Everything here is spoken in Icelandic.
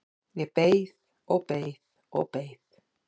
Ég beið og beið og beið!